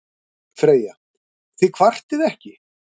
Freyja: Þið kvartið ekki.